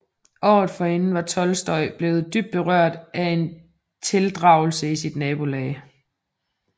Året forinden var Tolstoj blevet dybt berørt af en tildragelse i sit nabolag